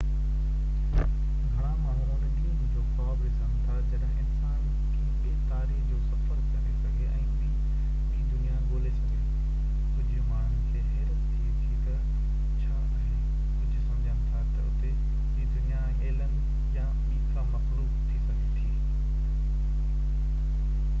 گهڻا ماڻهو ان ڏينهن جو خواب ڏسن ٿا جڏهن انسان ڪنهن ٻي تاري جو سفر ڪري سگهي ۽ ٻي دنيا ڳولي سگهي ڪجهہ ماڻهن کي حيرت ٿئي ٿي تہ اتي ڇا آهي ڪجهہ سمجهن ٿا تہ اتي ٻي دنيا ۾ ايلين يا ٻي ڪا مخلوق ٿي سگهي ٿي